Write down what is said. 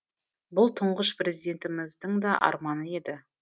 бұл тұңғыш президентіміздің да арманы еді